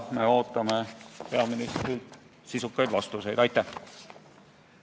Me ootame peaministrilt sisukaid vastuseid selle kohta.